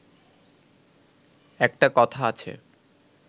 একটা কথা আছে